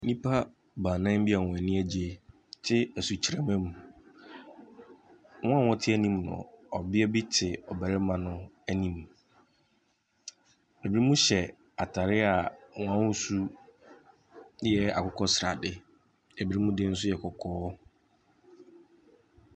Nnipa baanan bi wɔn ani agyeɛ te asukyerɛma mu. Wɔn a ɔte anim no, ɔbaa te ɔbarima no anim. Ɛbinom hyɛ ataade na ahusu yɛ akokɔsradeɛ, ɛbi mo nso deɛ yɛ kɔkɔɔ.